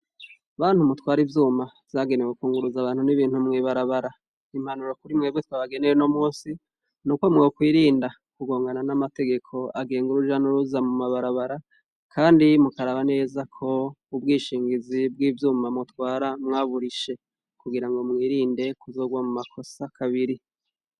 Bantu mutwara ivyuma byagenewe kunguruza abantu n'ibintu Mwibarabara, impanuro kuri mwebwe twabagenewe uno munsi nuko muwe kwirinda kugongana n'amategeko agenga urujanuruza mu mabarabara kandi mukaraba neza ko ubwishingizi bw'ivyuma mutwara mwaburishe kugira ngo mwirinde kugwa mu makosa kabiri.